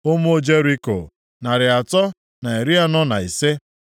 Ụmụ Jeriko, narị atọ na iri anọ na ise (345).